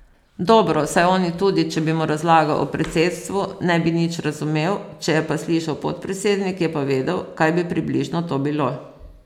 Dobro, saj oni tudi, če bi mu razlagal o predsedstvu, ne bi nič razumel, če je pa slišal podpredsednik, je pa vedel, kaj bi približno to bilo.